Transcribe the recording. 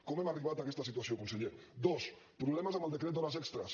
com hem arribat a aquesta situació conseller dos problemes amb el decret d’hores extres